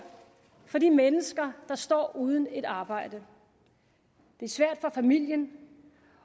for de mennesker der står uden et arbejde det er svært for familien